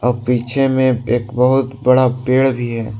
पीछे में एक बहोत बड़ा पेड़ भी है।